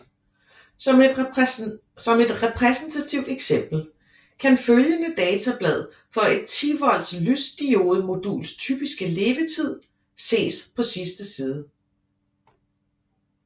Som et repræsentativt eksempel kan følgende datablad for et 10W lysdiodemoduls typiske levetid ses på sidste side